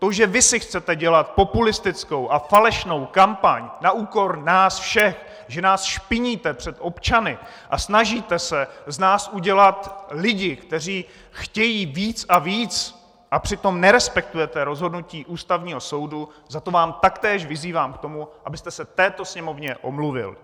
To, že vy si chcete dělat populistickou a falešnou kampaň na úkor nás všech, že nás špiníte před občany a snažíte se z nás udělat lidi, kteří chtějí víc a víc, a přitom nerespektujete rozhodnutí Ústavního soudu, za to vás taktéž vyzývám k tomu, abyste se této Sněmovně omluvil!